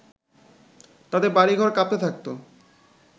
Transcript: তাতে বাড়িঘর কাঁপতে থাকতো